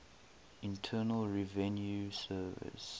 internal revenue service